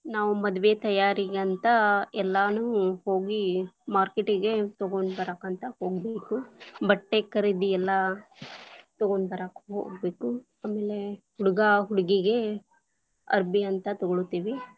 ನಾವು ಮದುವೆ ತಯಾರಿಗಂತ ಎಲ್ಲಾನೂ ಹೋಗಿ market lang:Foreign ಗೆ ತಗೊಂಡ ಬರಾಕಂತ ಹೋಗಬೇಕು, ಬಟ್ಟೆ ಖರೀದಿ ಎಲ್ಲಾ ತಗೊಂಡ ಬರಾಕ ಹೋಗ್ಬೇಕು. ಆಮೇಲೆ ಹುಡುಗಾ ಹುಡುಗಿಗೆ ಅರ್ಬೀ ಅಂತ ತಗೋಳ್ತೀವಿ.